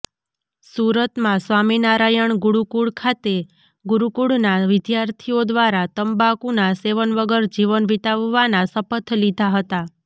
સુરતમાં સ્વામિનારાયણ ગુરુકુળ ખાતે ગુરુકુળના વિદ્યાર્થીઓ દ્વારા તુંબાકુના સેવન વગર જીવન વિતાવવાના શપથ લીધા હતા